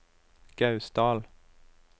Gausdal